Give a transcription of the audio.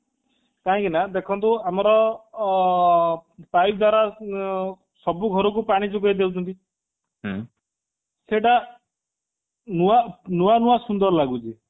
କାହିଁ କି ନା ଦେଖନ୍ତୁ ଆମର ଅ ପାଇପ ଦ୍ଵାରା ଉଁ ସବୁ ଘରକୁ ପାଣି ଯୋଗେଇ ଦଉଛନ୍ତି ସେଇଟା ନୂଆ ନୂଆ ସୁନ୍ଦର ଲାଗୁଛି